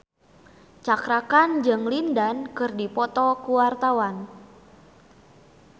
Cakra Khan jeung Lin Dan keur dipoto ku wartawan